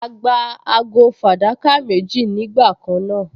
A gba ago fàdákà méjì nígbà kan náà